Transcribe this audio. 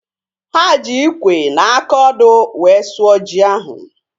Ha ji ikwe na aka ọdụ wee sụọ ji ahu